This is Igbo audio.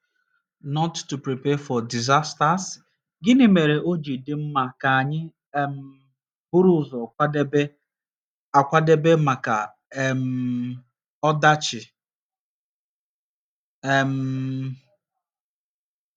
nt to prepare for disasters? Gịnị mere o ji dị mma ka anyị um buru ụzọ kwadebe akwadebe maka um ọdachi? um